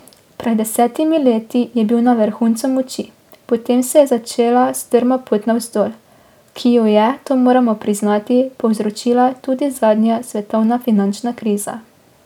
Pred desetimi leti je bil na vrhuncu moči, potem se je začela strma pot navzdol, ki jo je, to moramo priznati, povzročila tudi zadnja svetovna finančna kriza.